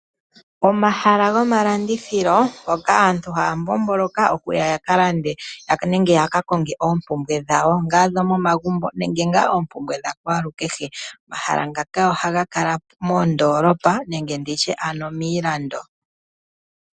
Omahala gomalandithilo hoka aantu haya mbomboloka okuya ya ka lande nenge ya ka konge oompumbwe dhawo, ongele odhomomagumbo nenge ngaa oompumbwe dha kwalukehe. Omahala ngaka ohaga kala moondoolopa ano ndi tye miilando.